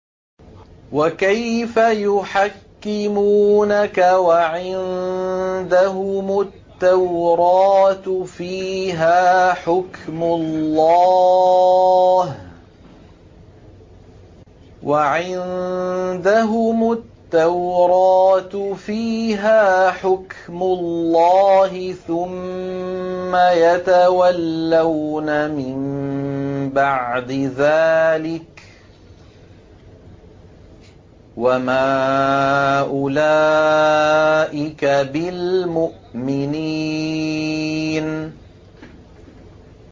وَكَيْفَ يُحَكِّمُونَكَ وَعِندَهُمُ التَّوْرَاةُ فِيهَا حُكْمُ اللَّهِ ثُمَّ يَتَوَلَّوْنَ مِن بَعْدِ ذَٰلِكَ ۚ وَمَا أُولَٰئِكَ بِالْمُؤْمِنِينَ